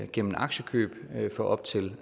gennem aktiekøb for op til